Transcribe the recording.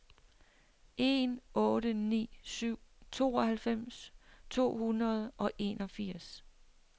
en otte ni syv tooghalvfems to hundrede og enogfirs